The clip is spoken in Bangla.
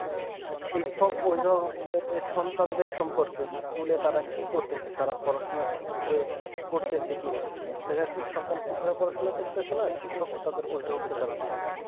শিক্ষক উদ্ভাবকদের সন্তানের সম্পর্কে নেতারা কি করতেছে তারা পড়াশোনা ঠিকভাবে করতেছি কিনা মানে সন্ধান খুব ভাবে পড়াশোনা করতেছে না শিক্ষক তাদের অভিভাবক কে জানাচ্ছে না